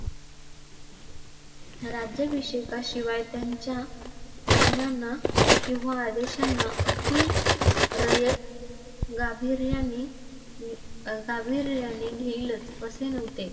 राज्यभिषेकाशिवाय त्यांच्या आज्ञांना किंवा आदेशांना अखिल रयत गांभीर्याने गांभीर्याने घेईलच असे नव्हते.